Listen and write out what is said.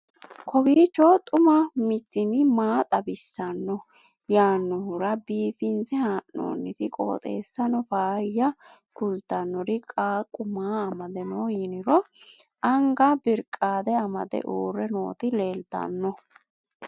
kowiicho xuma mtini maa xawissanno yaannohura biifinse haa'noonniti qooxeessano faayya kultannori qaaqu maa amade no yiniro anga birqaade amade uurre nooti leeltanno